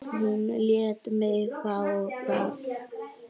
Hún lét mig fá það.